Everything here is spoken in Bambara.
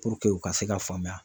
Puruke u ka se ka faamuya